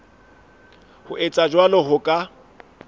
ho etsa jwalo ho ka